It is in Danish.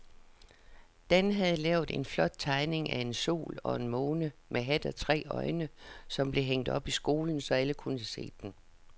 Dan havde lavet en flot tegning af en sol og en måne med hat og tre øjne, som blev hængt op i skolen, så alle kunne se den.